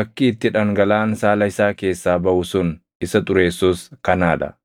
Akki itti dhangalaʼaan saala isaa keessaa baʼu sun isa xureessus kanaa dha.